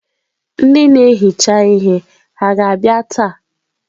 Ndị na-ehicha ihe ha ga-abịa taa?